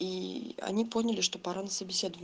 и они поняли что пора на собеседование